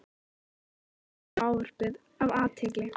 Guttormur hlýddi á ávarpið af athygli.